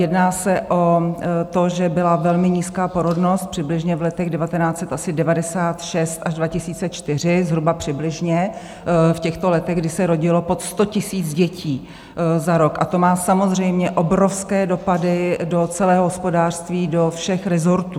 Jedná se o to, že byla velmi nízká porodnost přibližně v letech 1996 až 2004, zhruba přibližně v těchto letech, kdy se rodilo pod 100 000 dětí za rok, a to má samozřejmě obrovské dopady do celého hospodářství, do všech rezortů.